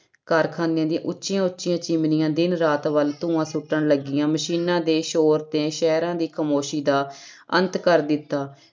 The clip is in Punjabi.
ਕਾਰਖਾਨਿਆਂ ਦੀਆਂ ਉੱਚੀਆਂ ਉੱਚੀਆਂ ਚਿਮਨੀਆਂ ਦਿਨ ਰਾਤ ਵੱਲ ਧੂੰਆਂ ਸੁੱਟਣ ਲੱਗੀਆਂ ਮਸ਼ੀਨਾਂ ਦੇ ਸ਼ੋਰ ਨੇ ਸ਼ਹਿਰਾਂ ਦੀ ਖਾਮੋਸੀ ਦਾ ਅੰਤ ਕਰ ਦਿੱਤਾ।